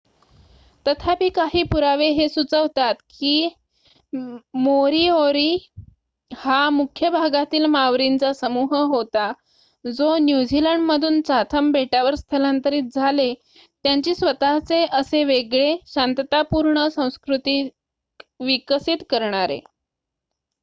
तथापी काही पुरावे हे सुचवतात के मोरीओरी हा मुख्य भागातील मावरींचा समूह होता जो न्यूझीलंड मधून चाथम बेटावर स्थलांतरीत झाले त्यांची स्वत:चे असे वेगळे शांततापूर्ण संस्कृती विकसित करणारे